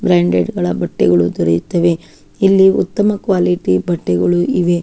ಬ್ರಾಂಡೆ ಡ್ಗಳ ಬಟ್ಟೆಗಳು ದೊರೆಯುತ್ತದೆ ಇಲ್ಲಿ ಉತ್ತಮ ಕ್ವಾಲಿಟಿ ಬಟ್ಟೆಗಳು ಇವ.